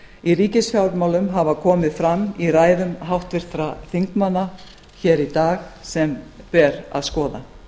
í ríkisfjármálum hafa komið fram í ræðum háttvirtra þingmanna hér í dag sem ber að skoða